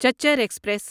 چچر express